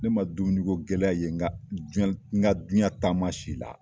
Ne ma dumuniko gɛlɛya ye n ka duyan n ka duyan taama si la.